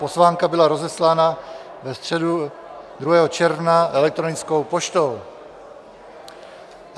Pozvánka byla rozeslána ve středu 2. června elektronickou poštou.